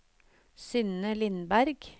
Synne Lindberg